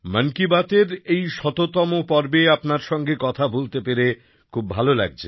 মন কি বাতএর এই শততম পর্বে আপনার সঙ্গে কথা বলতে পেরে খুব ভালো লাগছে